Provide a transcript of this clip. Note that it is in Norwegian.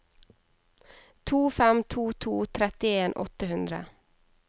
to fem to to trettien åtte hundre